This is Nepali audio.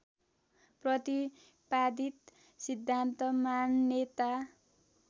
प्रतिपादित सिद्धान्त मान्यता